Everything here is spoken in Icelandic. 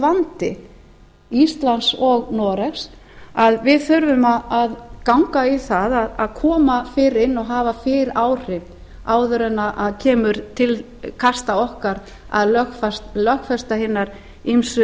vandi íslands og noregs að við þurfum að ganga í að koma fyrr inn og hafa fyrr áhrif áður en kemur til kasta okkar að lögfesta